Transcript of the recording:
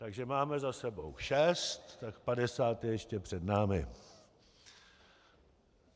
Takže máme za sebou šest, tak padesát je ještě před námi.